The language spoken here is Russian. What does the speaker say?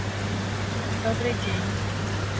добрый день